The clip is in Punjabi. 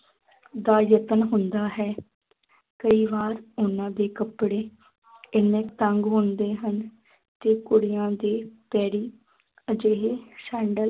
ਦਾ ਯਤਨ ਹੁੰਦਾ ਹੈ ਕਈ ਵਾਰ ਉਹਨਾਂ ਦੇ ਕੱਪੜੇ ਇੰਨੇ ਤੰਗ ਹੁੰਦੇ ਹਨ ਕਿ ਕੁੜੀਆਂ ਦੇ ਪੈਰੀ ਅਜਿਹੇ ਸੈਂਡਲ